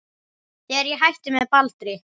Þegar ég hætti með Baldri.